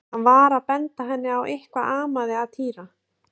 Hann var að benda henni á að eitthvað amaði að Týra.